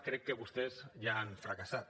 crec que vostès ja han fracassat